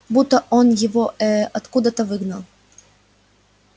будто он его э-э откуда-то выгнал